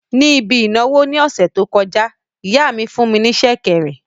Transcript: Níbi ìnáwó ní ọ̀sẹ̀ tó kọjá, ìyá mi fún ní sẹ̀kẹ̀rẹ̀